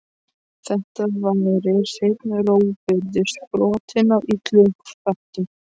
Þetta væri hreinn rógburður, sprottinn af illum hvötum.